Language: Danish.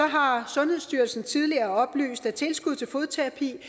har sundhedsstyrelsen tidligere oplyst at tilskuddet til fodterapi